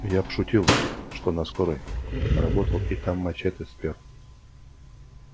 я пошутил что на скорой работал и там мачете спёр